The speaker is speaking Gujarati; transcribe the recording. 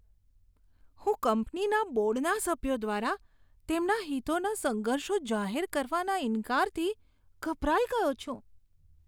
હું કંપનીના બોર્ડના સભ્યો દ્વારા તેમના હિતોના સંઘર્ષો જાહેર કરવાના ઈન્કારથી ગભરાઇ ગયો છું.